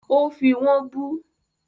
Ó fí wọ́n bú